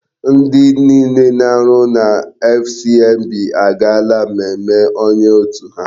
Ndi niile na-arụ na FCMB agaala mmemme onye otu ha.